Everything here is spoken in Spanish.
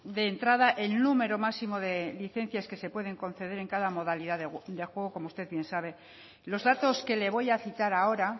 de entrada el número máximo de licencias que se pueden conceder en cada modalidad de juego como usted bien sabe los datos que le voy a citar ahora